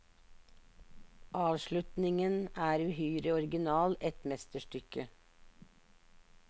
Avslutningen er uhyre original, et mesterstykke.